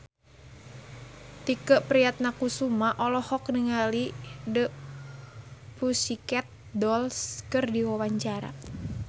Tike Priatnakusuma olohok ningali The Pussycat Dolls keur diwawancara